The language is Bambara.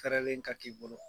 ka k'i bolo.